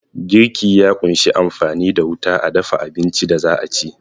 Girki ya kunshi amfani da wuta a dafa abincin da za'a ci